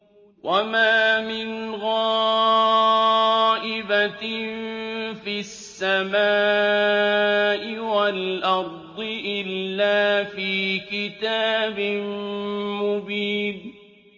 وَمَا مِنْ غَائِبَةٍ فِي السَّمَاءِ وَالْأَرْضِ إِلَّا فِي كِتَابٍ مُّبِينٍ